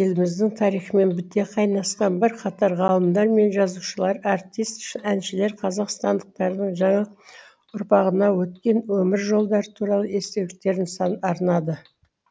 еліміздің тарихымен біте қайнасқан бірқатар ғалымдар мен жазушылар артист әншілер қазақстандықтардың жаңа ұрпағына өткен өмір жолдары туралы естеліктерін арнады